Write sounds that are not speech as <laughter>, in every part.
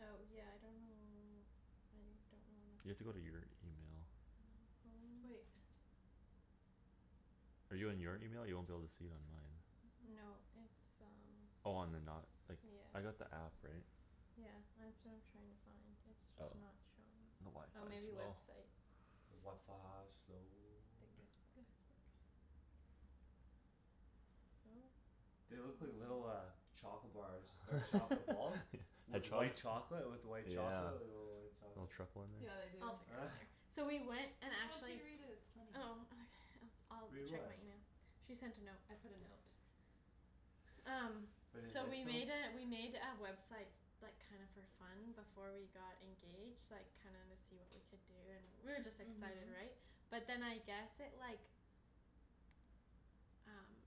Oh yeah, I don't know, I don't know You where have to my go to phone your email. My phone. Wait. Are you in your email? You won't be able to see it on mine. No, it's um Oh on The Knot. Like, Yeah. I got the app, right? Yeah, that's what I'm trying to find. It's Oh, just not showing. the Oh, maybe wifi's slow. website. The wifi slow. Then guestbook. Guestbook. No. They look like little uh <noise> Chocolate bars or chocolate balls. With <laughs> White. white chocolate, with white chocolate, Yeah. like, little white Little chocolates. truffle in there. Yeah, they do. I'll figure it out later. <laughs> So we went and No, I want you actually to read it, it's funny. Oh okay, I'll d- Read I'll check what? my email. She sent a note. I put a note. Um, <noise> Pretty so we nice note? made a, we made a website Like, kinda for fun before we got engaged. Like, kinda wanna see what we could do and we were just excited, Mhm. right? But then I guess it, like Um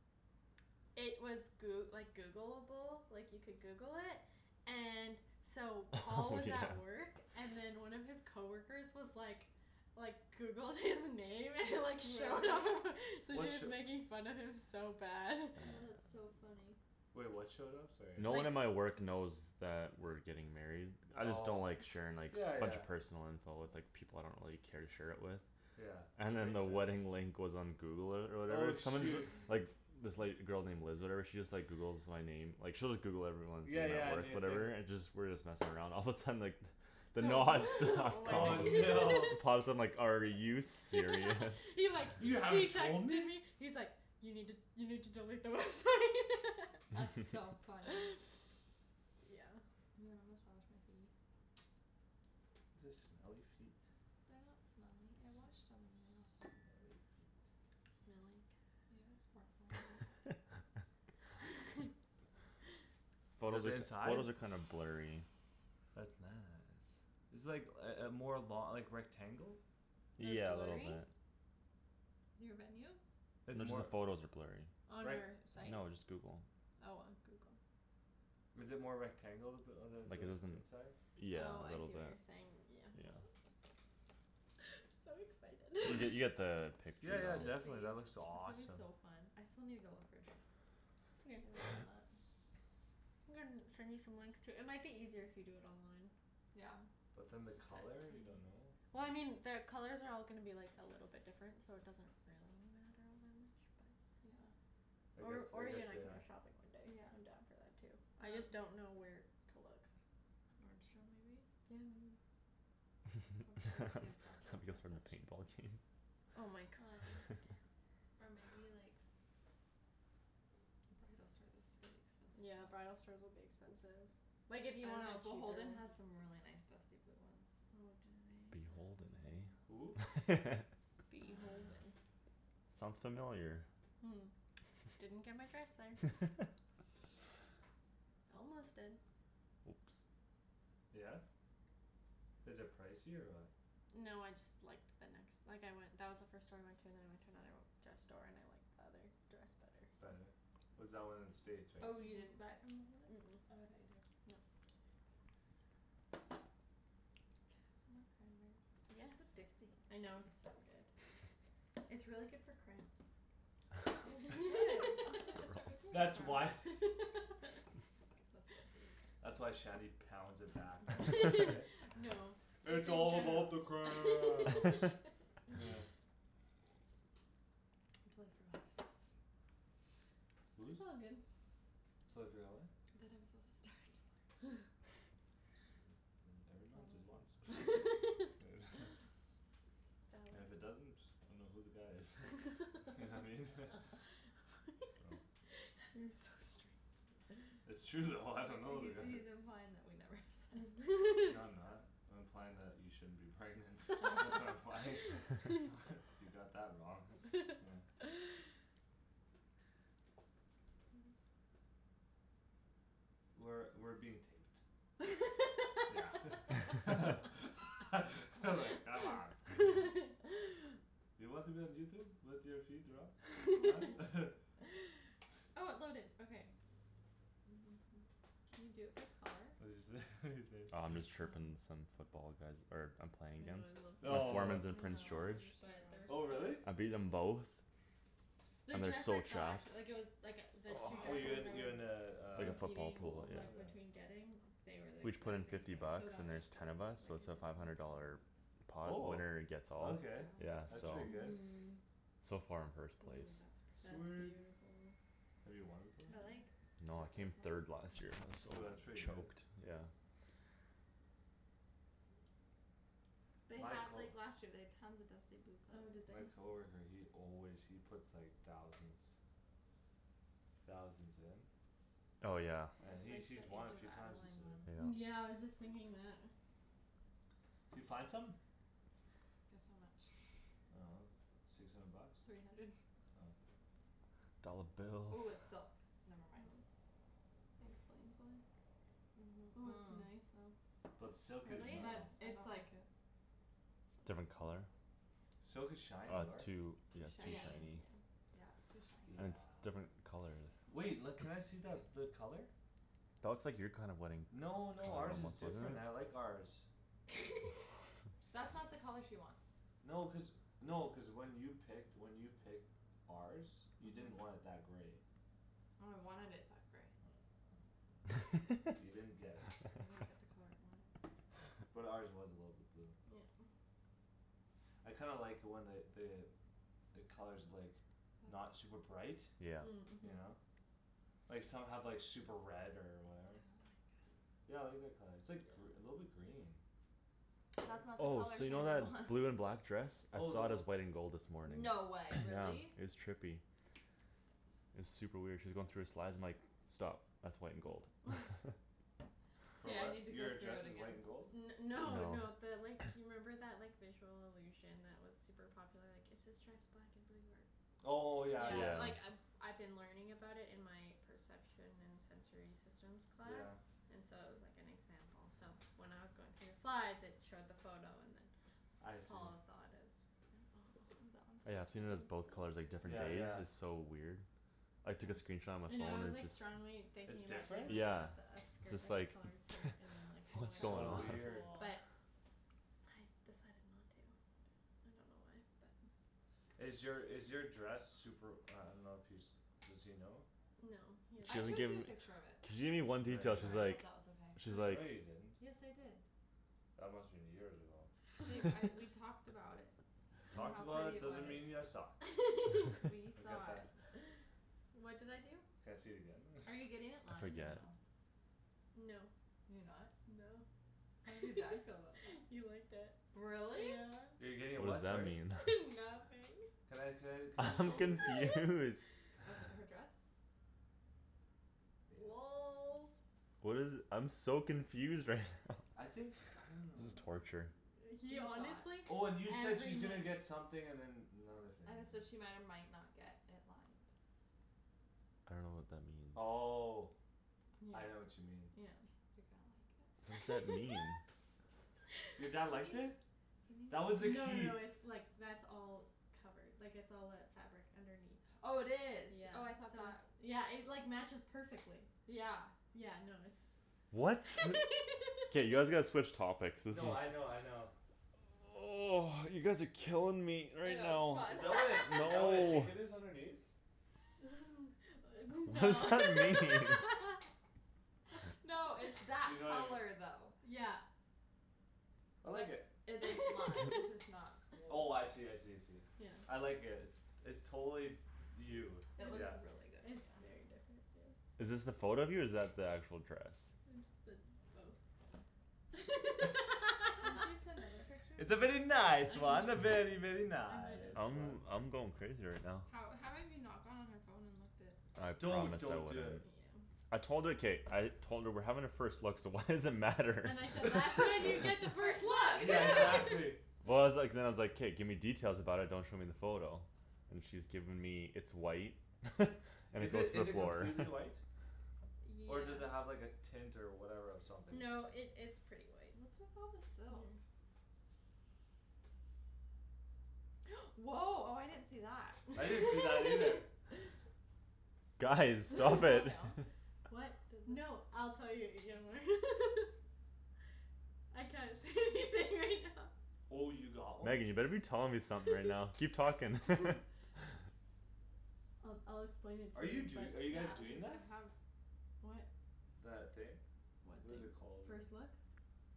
It was Goo- like Googleable, like, you could Google it And so <laughs> Paul Oh, was yeah. at work And then one of his coworkers was like Like, Googled his name and <laughs> like showed up Really? So What sh- just making fun of him so bad. Oh, <noise> that's so funny. Wait, what showed up? Sorry, No I one Like at my work knows that we're getting married. I just don't Oh, like sharing, like, yeah, a bunch yeah. of personal info with, like People I don't really care to share it with. Yeah, And then makes the sense. wedding link was on Google or, or Oh whatever. Someone's shoo- <laughs> Like, this, like, girl named Liz or whatever she Just, like, Googles my name. Like, she'll just Google everyone When Yeah, we're at yeah, work new thing. whatever and just, we're just messing around, all of a sudden, like <laughs> <laughs> The Knot stuff Oh, Wedding no. <laughs> Paused and like, "Are you serious?" <laughs> He, like, he "You haven't told texted me?" me He's like, "You need to, you need to delete the website." <laughs> That's so <laughs> funny. <laughs> Yeah. You wanna massage my feet? Is this smelly feet They're not smelly. I washed them when you're not home. Smelly feet. Smelly You know cat, sparkle a little smelly bit there. cat. <laughs> <laughs> <laughs> Photos Is it are, inside? photos are kinda blurry. That's nice. It's, like, uh uh more lo- like, rectangle? They're Yeah, a little blurry? bit. Your venue? It's Just the more, photos are blurry. On like our site? No, just Google. Oh, on Google. Is it more rectangle? The uh Like the, the it isn't, inside? yeah, Oh, a I little see what bit. you're saying. Oh, Yeah. it's <laughs> So You get, you get excited. <noise> <noise> the You picture Yeah, yeah, though. should definitely be. that looks It's gonna be awesome. so fun. I still need to go look for a dress. It's okay. <inaudible> <noise> I'm gonna send you some links too. It might be eaiser if you do it online. Yeah. But then the But color, you don't know? Well, I mean <noise> their colors are all gonna be like a little different so it doesn't really matter all that much, but Yeah. I guess, Or, I or you guess and I they can go are. shopping one day. Yeah, I'm I'm down down for for that that too. too. I just don't know where to look. Nordstrom maybe? Yeah, maybe. <laughs> Um there's a dress, a You guys dress for another section. paintball game? Oh my gosh. <laughs> Or maybe like Bridal store, that's gonna be expensive Yeah, though. bridal stores will be expensive. Like, if you Oh, want a no, cheaper Beholden one. has some really nice dusty blue ones. Oh, do they? Beholden, Who? hey? <laughs> Uh Beholden. Sounds familiar. <noise> Didn't get my dress there. <laughs> Almost did. Oops. Yeah? Is it pricey or what? No, I just liked the nex- like, I went, that was the first store I went To and then I went to another dress store and I liked The other dress better, so. Better? Was that one in the States, right? Oh, you Mhm. didn't buy it from Beholden? Mm- mm. Oh, I thought you did. No. Can I have some more Yes. cranberry? It's addicting. I know, it's so good. <laughs> It's really good for cramps. Oh <inaudible> I'm supposed to start my <laughs> Girls. <laughs> period That's tomorrow. why. <laughs> That's cool. That's why Shanny pounds it back then, <laughs> eh? <laughs> No. That's "It's what all I'm about the trying cramps!" to <laughs> <noise> <laughs> I'm totally forgot I was supposed to Whose? It's all good. Totally forgot, what? That I'm supposed to start tomorrow. <laughs> <laughs> <noise> Never Thomas's mind, <noise> <laughs> <laughs> And if it That was doesn't, I dunno who the guy is. You know what I mean? <laughs> <laughs> Oh. <noise> <laughs> You're so strange. <noise> It's true though, I dunno who He's, the guy is. he's implying that we never have se- No, I'm <laughs> not. I'm implying that you shouldn't be pregnant. That's what I'm implying. <laughs> <laughs> You got that wrong. Yeah. <laughs> I guess. We're, we're being taped. Yeah <laughs> <laughs> like, come on. <laughs> You want to be on Youtube? With your feet rub? Huh? <laughs> <laughs> <noise> Can you do it by color? What'd you say? What'd you say? Oh, I'm just chirping some football guys er I'm playing I know, against. I love The their Oh. foreman's in dresses so Prince George. much but they're Oh so really? I've beaten expensive. them both. The And they're dress so I saw trashed. actu- like, it was Like, the two Oh you dresses I in, you was in uh, In a a football football Competing, pool, pool? yeah. like, Yeah. between getting They were, like, We each put in exact same fifty price so bucks that and was there's ten good. of us Like, so I it's a didn't five have hundred to worry dollar about that. Pot Oh. winner-gets-all, That Okay, yeah, that's one's so. pretty fun though. good. Mhm. So far I'm first place. Ooh, that's That's pretty. Sweet. beautiful. Have you won before? I like No, I that came this third last year Oh, one that's has <inaudible> <inaudible> pretty good. choked, yeah. They My had, co- like, last year they'd tons of dusty blue Oh, did they? My color coworker, he always, he puts, like, thousands Thousands in. Oh, yeah. And That's he's, like he's the won a Age of few times, Adeline he said. one. Yeah. Yeah, I was just thinking that. D'you find something? Guess how much. I dunno, six hundred bucks? Three hundred. Oh. Dolla Oh, bills. it's silk. Oh, Never mind. that explains why. Ooh, it's nice though. But silk is Really? But nice. I it's don't like like it. So Different pricey. color? Silk is shiny, Oh, it's right? too, Too yeah, too Yeah, shiny. shiny. yeah. Yeah, it's too Yeah. And it's shiny. different color, the Wait. L- Yeah. can I see that, the color? That looks like your kind of wedding. No, no, ours is different, I <inaudible> like ours. <laughs> <laughs> That's not the color she wants. No, cuz, no, cuz when you picked, when you picked ours You didn't want it that grey. No, I wanted it that grey. Oh. <noise> You didn't get it. I didn't get the color I wanted. <laughs> But ours was a little bit blue. Yeah. I kinda like when the, the The color's, like, not That's super bright. Yeah. Mm. You Mhm. know? Like some have, like, super red or I don't whatever. like it. Yeah, I like that color. It's Yeah. like gr- a little bit green. That's <noise> not the Oh, color so you know Shandryn that wants. blue and black dress? I Oh, then saw it wha- as white and gold this morning. No <noise> way, Yeah, really? it's trippy. It's super weird. She was going through her slides, I'm like "Stop, that's white and gold." <laughs> <laughs> For K, I what? need to go Your through dress it is again. white and gold? N- no, no, No. the like <noise> You remember that, like, visual illusion That was super popular, like, is this dress black and blue or Oh, yeah, Yeah, yeah. like, Yeah. I I've been learning about it in my Perception and sensory systems class Yeah. And so it was, like, an example so When I was going through the slides it showed the photo and then I see. Paul saw it as That one's Yeah, kinda I've seen Fall, it as it's so both colors, like, different Yeah, cool. days. yeah. It's so weird. I took a Hmm. screenshot on my I know phone I was, and it's like, just strongly thinking It's about doing different? like one Yeah. of the It's skirt, just like a like, colored skirt and then, like <laughs> "What's White That going So would on?" tops be weird. cool. but I decided not to. I don't know why, but Is your, is your dress Super, I dunno if he's, does he know? No, he She I hasn't doesn't showed give you seen a it. picture of it. She gave me one No, detail, Sorry, you she's I didn't. hope like that was okay. She's like No, <noise> you Like, didn't.. yes, I did. That must've been years ago. Babe, <laughs> I, we <laughs> talked about it. And Talked how about pretty it it was. doesn't mean you saw. <laughs> We I'll <laughs> get saw that. it. <noise> What did I do? Can I see it again then? <laughs> Are you getting it I lined or forget. no? No. You're not? No. How did your dad feel about that? <laughs> He liked it. Really? Yeah. You're getting it What's what, that sorry? mean? <laughs> <laughs> Nothing. Can I, can I, <laughs> can you I'm show me the picture? confused. <noise> With her dress? Yes. Lolz. What is it, I'm so confused right now. I <laughs> think, I don't This is know. torture. He He saw honestly it. Oh, and you said every she's gonna night get something and then another thing I had to said she might or might not get it lined. I dunno what that means. Oh, Yeah, Yeah, I know what you mean. yeah. yeah. You're gonna like it. What does that mean? <laughs> Your dad liked it? That was No the no key. no, it's, like, that's all Covered. Like, it's all that fabric underneath. Oh, it is. Yeah, Oh, I thought so it's, that yeah, it, like, matches perfectly. Yeah. Yeah, no, it's What? K, you guys gotta <laughs> switch topics. This is No, I know, I know. <noise> You guys are killing me I right know, it's now. Is fun. that what I, is that what I <laughs> No. think it is underneath? <laughs> <laughs> What does No. that This mean? <laughs> No, it's that You know i- color though. Yeah. I like But it. it, it's lime, it's just <noise> <laughs> not Oh, <inaudible> I see, I see, I see. Yeah. I like it. It's, it's totally You. No, It it's looks Yeah. just, really good on it's you. very different, yeah. Is this the photo of you or is that the actual dress? It's the, both. <laughs> Didn't you <laughs> send other pictures? I It's a very I nice control one. can A very, very, In a nice nice I'm, one. way. I'm going crazy right now. How, how have you not gone on her phone and looked at I Don't, promised her I don't do Yeah. it. wouldn't. Yeah. I told her. K, I Told her we're having a first look so why does it matter? And I <laughs> said, "That's when you <laughs> get the first Yeah, look!" <laughs> exactly. Well, I was like, then I was like, "K, give me details about it; don't show me the photo." And she's given me, "It's white." <laughs> "And Is it's it, a" is it completely white? <inaudible> Yeah. Or does it have, like, a tint or whatever or something? No, it, it's pretty white. What's with all the silk? Mhm. <noise> Woah, oh, I didn't see that. I didn't see that either. <laughs> Guys, Does it stop fall it. down? <laughs> <laughs> What, Does it no, I'll tell you <inaudible> <laughs> Oh, you got one? Megan, you better be telling me something right now. Keep talking. <laughs> I'll, I'll explain it Are to you you but do- are you guys doing that? What? That thing? What What thing? is it called, I First dunno. look?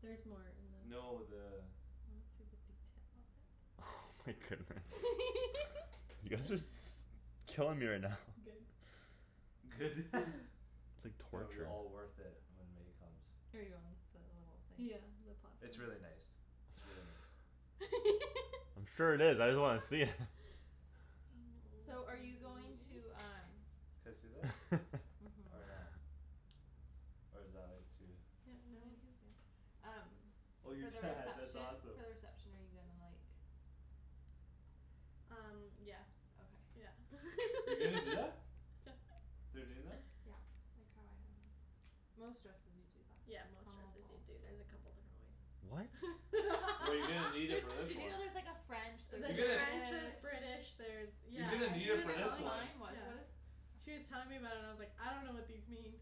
Theres more. And then No, the I wanna see the detail of it. Oh my goodness. <laughs> You guys are s- killing me right now. Good. Good. <laughs> <laughs> It's like Gonna be torture. all worth it when May comes. Are you on the little thing? Yeah, the pot thing. It's really nice. It's really nice. <laughs> Sure it is. I just wanna see it. I know So we're are you being very going mean. to um Can I see that? Or Mhm. <laughs> not? Or is that, like, too Yeah, no. No, you can see it. Um Oh your For the dad, that's reception, for awesome. the reception are you gonna, like Um yeah, Okay. yeah. You're gonna do <laughs> that? They're doing that? Yeah, like how I had mine. Most dresses you do that. Yeah, most Almost dresses do, all the dude; there's a dresses couple different What? ways. <laughs> Well, you're gonna need it There's, <laughs> for this did you one. know there's like a French You're There's a gonna French, There's there's British British, there's You're Yeah, gonna uh need she She it was was for this telling telling, one. mine was, yeah. what is She was telling me about it and I was like, "I dunno what these mean."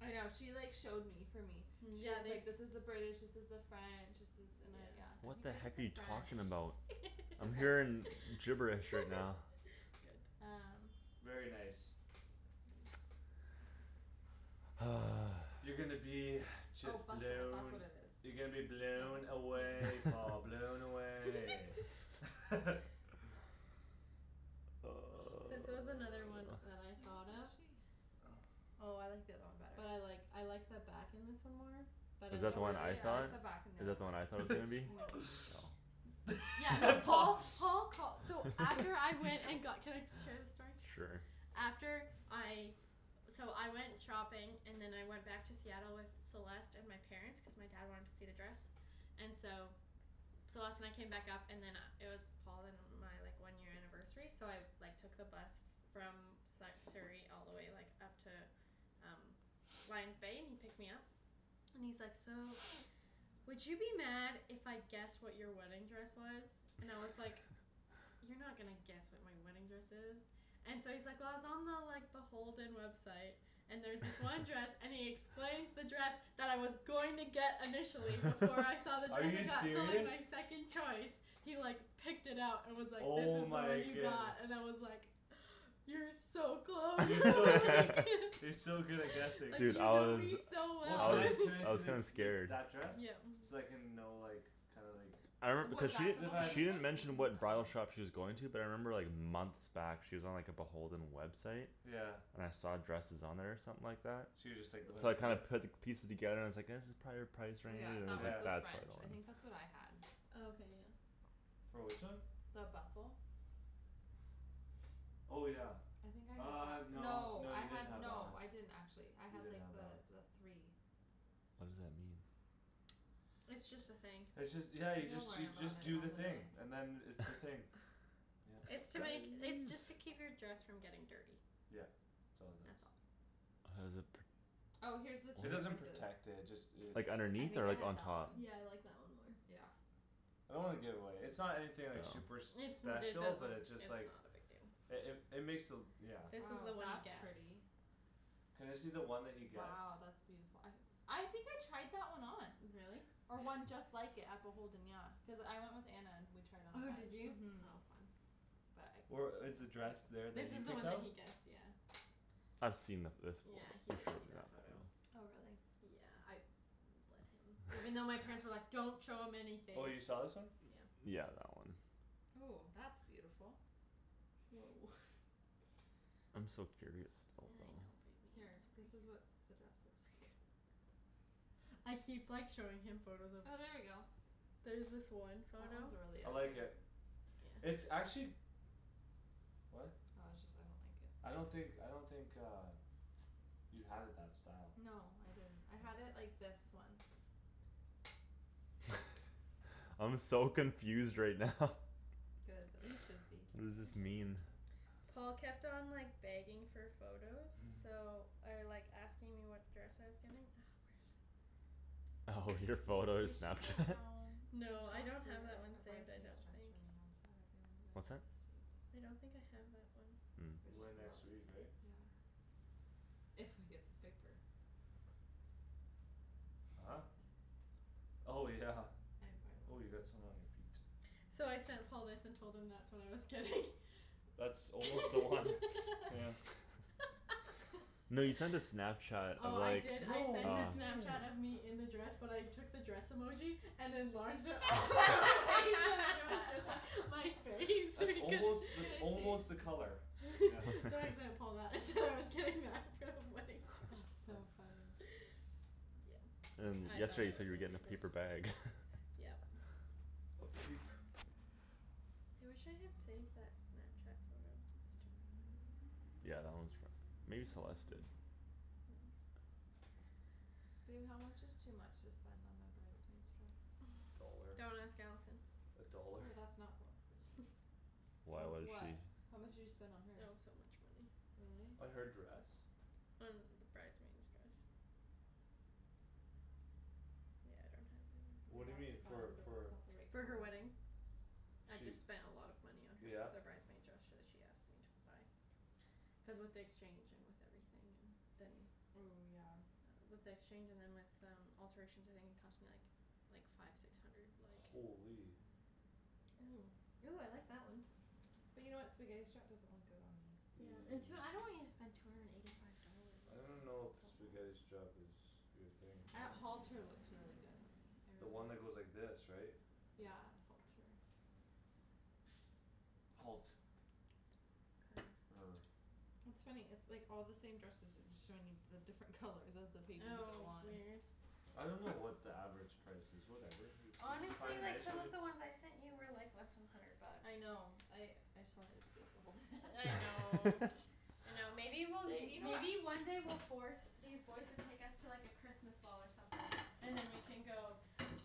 I know. She like showed me for me. Yeah, Yeah, and she's they like, "This is the British, this is the French." "This is" and I, Yeah. yeah, I What think the I did heck are the you French. talking about? It's I'm okay. hearing <laughs> gibberish right now. Good. Um Very nice. Thanks. <noise> You're gonna be Oh just bustle, that's what blown. it You're gonna be is. blown Bustle. away, Paul, <laughs> blown away. <laughs> <laughs> This was another one So that I what thought was of. she? Oh I like the other one better. But I like, I like the back in this one more. But Is I that the one I Really? I thought? like like the <inaudible> the back on the Is other that the one I one. thought it was gonna be? No. Oh. Yeah, no, <laughs> Paul Paul, Paul call- so After I He went and got, ca- can I share this story? Sure. After I So I went shopping And then I went back to Seattle with Celeste and my Parents, cuz my dad wanted to see the dress And so Celeste and I came back up and then uh it was Paul and uh my, like, one year anniversary so I Like, took the bus from Sa- Surrey all the way, like, up to Um Lion's Bay, and he picked me up And he's like, "So Would you be mad if I guessed what your wedding dress was?" And I was like <laughs> "You're not gonna guess what my wedding dress is." And so he's like, "Well, I was on the, like, the Beholden website." "And there was this one dress," <laughs> and he explains the dress That I was going to get initially before I <laughs> saw the Are dress I you got, so, like, serious? my second choice. He, like, picked it up and was like, "This Oh is the one my you goodne- got" and I was like <noise> "You're so close." You're so good at, <laughs> you're <laughs> so good at guessing. Like, Dude, you I know was, me so Well, I can well. I, was, can I I see was the, kinda <laughs> the, scared. that dress? Yeah. So I can know, like, kinda like I re- cuz she, she <noise> didn't mention Mm- what bridal mm. Oh. shop she was going to. But I remember, like, months back she was on, like, the Beholden website. Yeah. And I saw dresses on there or something like that So you just, like, went So I into kinda there? put pieces together and I was like "That's prolly our price Oh, range." yeah, And I that was was Yeah. like, the "That's French. probably the I one." think that's what I had. Oh, okay, yeah. For which one? The bustle. Oh, yeah. I think I had Uh, that. no, No, no, I you didn't had have that one. no I didn't actually. I You had, didn't like, have that one. the, the three. What does that mean? It's just a thing. It's just, yeah, you You'll just, learn you about just it do the on the thing day. and then it's the thing. <laughs> Yep. It's to make, it's just to <noise> keep your dress from getting dirty. Yeah, it's all it does. That's all. How does it pr- Oh, here's the two It doesn't differences. protect it. Just it Like, I underneath think or I like, had on that one. top? Yeah, I like that one more. Yeah. I don't wanna give it away. It's not anything, like, No. super It's, it special but doesn't, it's just it's like not a big deal. It, it, it makes the, yeah. This was the Oh, one he that's guessed. pretty. Can I see the one that he guessed? Wow, that's beautiful. I I think I tried that one on. Really? Or one just <laughs> like it at Beholden, yeah. Cuz I went with Anna and we tried on a Oh, bunch. did you? Mhm. Oh fun. But I Or couldn't fit is the in dress that one. there This that you is the picked one that out? he guessed, yeah. I've seen the, this one; Yeah, he she's did shown see me that that photo. one. Oh, really? Yeah, I let him. Even though my parents were like, "Don't show him anything." Oh, you saw this one? Yeah. Yeah, that one. Ooh, that's beautiful. Woah. I'm so curious still I though. know, baby, Here, I'm this is sorry. what the dress looks like. I keep, like, showing him photos of Oh, there we go. There's this one That one's photo really I like pretty. it. It's actually What? Oh, it just, I don't think it I don't think, I don't think uh You had it that style. No, I didn't. I had it like this one. <laughs> I'm so confused right now. Good, you should be. What does this mean? Paul kept on, like, begging for photos <laughs> so Or, like, asking me what dress I was getting. Oh, your Babe, photo we should go Snapchat? down We should No, I look don't have for that one a saved, I bridesmaid's don't dress think. for me on Saturday when we go down What's to that? the States. I don't think I have that one. <noise> Or We're going next week, just look. right? Yeah. If I get the paper. Huh? Oh, yeah. I'm, I Oh, will. you got some on your feet. So I sent Paul this and told him that's what I was getting. <laughs> That's almost the one, yeah. <laughs> <laughs> No, you sent a Snapchat Oh, of, I like, did, I No, what're sent uh you a Snapchat of doing? me in the dress but I took the dress emoji And enlarged it all the way so that it was Just like <laughs> my face so That's he can't almost, Can that's I almost see? the color. <laughs> Yeah. So I <laughs> sent Paul that and said I was getting that. So funny. That's so funny. Yeah, And I thought yesterday I you said was you a were getting a loser. paper bag. <laughs> Yep. Okay, p- I wish I had saved that Snapchat photo. That's too bad. Yeah, that one's for, maybe Celeste did. Babe, how much is too much to spend on a bridesmaid's dress? A dollar. Don't ask Allison. A dollar. Oh, that's not, don't wanna click on. Why, How, what is she what? How much did you spend on It hers? was so much money. Really? Uh, her dress? On the bridesmaid's dress. Yeah, I don't have it. Ooh, What do you that's mean? For, fun but for that's not the right For her color. wedding. I She, just spent a lot of money on her, yeah? the bridesmaid dress so she asked me to buy. Cuz with the exchange and with everything and then Ooh, yeah. With the exchange and then with um alterations I think it cost me, like Like, five six hundred, like Holy. Ooh. Ooh, I like that one. But you know what, spaghetti strap doesn't look good on me. Yeah, and tw- I <noise> don't want you to spend two hundred and eighty five dollars. I don't It's know if spaghetti a lot. strap is your thing. I, <noise> halter looks really good on me. I The really one that like goes like this, right? Yeah, halter. Halt. <noise> Er Er. It's funny. It's like all the same dresses. It's just showing me the different colors as the pages Oh go on. weird. I don't know what the average price is, whatever. You, you, you find Honestly, a like, nice some one, you of the ones I sent you were, like, less than hundred bucks. I know I, I saw it, it's Beholden. I <laughs> know. <laughs> I know, maybe we'll, They, you know what maybe one day we'll force These boys to take us to, like, a Christmas ball or something. And then we can go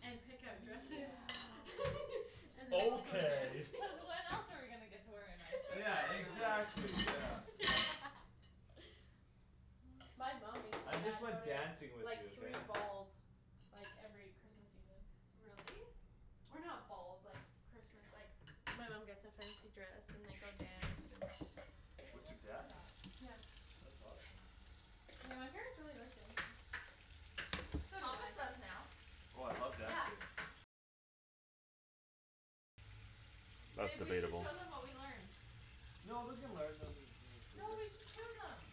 and pick out dresses Yeah. <laughs> And then we'll go Okay. dance. Cuz <laughs> when else are we gonna get to wear a nice dress Yeah, outside Exactly. our wedding? exactly, yeah. <laughs> My mom makes <noise> my I just dad go like to, dancing like, with you, like, okay? three balls. Like, every Christmas evening. Really? Or not balls, like, Christmas, like My mom gets a fancy dress and they go dance and Babe, What, your that's dad? enough. Yeah. That's awesome. Yeah, my parents really like dancing. So do Thomas I. does now. Oh, I love Yeah. dancing. That's Babe, we should debatable. show them what we learned. No, we can learn them, like, No, later. we should show them.